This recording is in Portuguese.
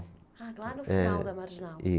Ah, lá no final da Marginal.